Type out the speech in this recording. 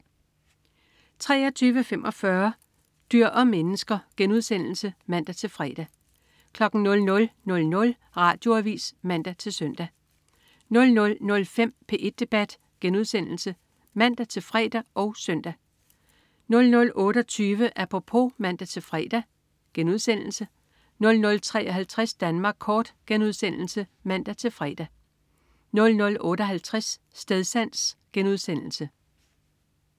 23.45 Dyr og mennesker* (man-fre) 00.00 Radioavis (man-søn) 00.05 P1 Debat* (man-fre og søn) 00.28 Apropos* (man-fre) 00.53 Danmark kort* (man-fre) 00.58 Stedsans*